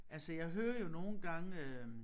Altså jeg hører jo nogle gange øh